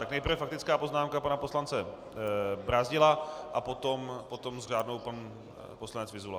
Tak nejprve faktická poznámka pana poslance Brázdila a potom s řádnou pan poslanec Vyzula.